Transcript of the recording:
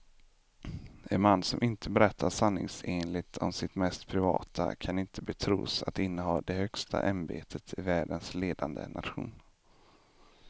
En man som inte berättar sanningsenligt om sitt mest privata kan inte betros att inneha det högsta ämbetet i världens ledande nation.